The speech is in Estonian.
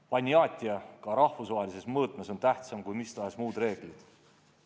Ponjatije ka rahvusvahelises mõõtmes on tähtsam kui mis tahes muud reeglid.